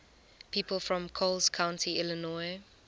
people from coles county illinois